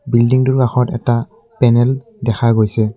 বিল্ডিংটোৰ কাষত এটা পেনেল দেখা গৈছে।